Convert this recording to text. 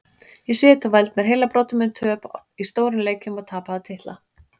Ég sit og veld mér heilabrotum um töp í stórum leikjum og tapaða titla.